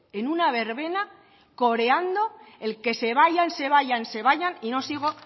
en una verbena coreando el que se vayan se vayan se vayan y no sigo